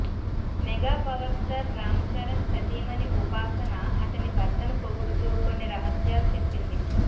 mega power star Ram Charan సతీమణి ఉపాసన అతని భర్తను పొగుడుతూ కొన్ని రహస్యాలు చెప్పింది